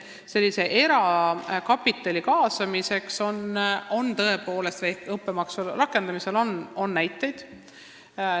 Erakapitali kaasamiseks õppemaksu rakendamise näiteid on olemas.